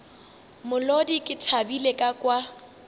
molodi ke thabile ka kwa